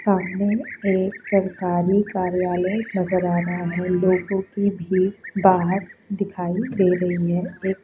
सामने एक सरकारी कार्यालय नजर आ रहा है लोगों की भीड़ बाहर दिखाई दे रही है एक --